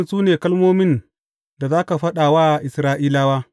Waɗannan su ne kalmomin da za ka faɗa wa Isra’ilawa.